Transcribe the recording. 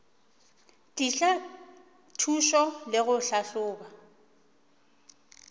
tliša thušo le go tlhahloba